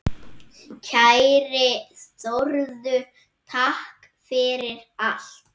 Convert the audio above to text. Kæri Þórður, takk fyrir allt.